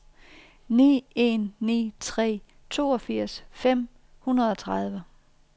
ni en ni tre toogfirs fem hundrede og tredive